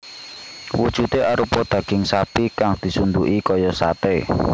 Wujudé arupa daging sapi kang disunduki kaya saté